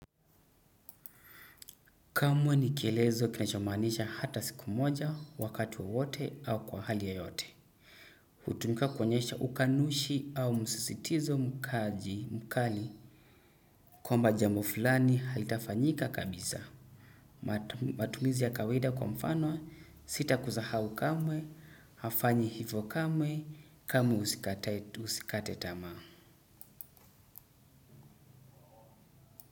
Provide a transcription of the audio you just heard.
Kamwe ni kielezo kinachomanisha hata siku moja wakati wowote au kwa hali yoyote. Hutumika kuonyesha ukanushi au msisitizo mkaji mkali. Kwamba jambo fulani halitafanyika kabisa. Matumizi ya kawaida kwa mfano sita kusahau kamwe, hafanyi hivyo kamwe, kamwe usikate tama.